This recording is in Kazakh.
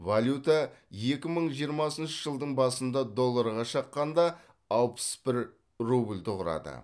валюта екі мың жиырмасыншы жылдың басында долларға шаққанда алпыс бір рубльді құрады